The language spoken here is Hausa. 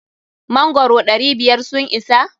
Mangoro ɗari biyar sun isa?